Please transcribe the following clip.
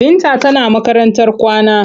Binta tana makarantar kwana.